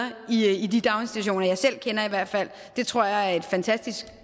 i de daginstitutioner jeg selv kender i hvert fald det tror jeg er et fantastisk